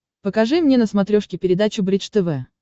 покажи мне на смотрешке передачу бридж тв